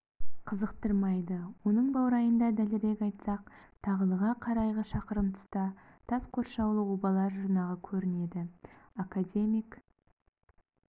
қызықтырмайды оның баурайында дәлірек айтсақ тағылыға қарайғы шақырым тұста тас қоршаулы обалар жұрнағы көрінеді академик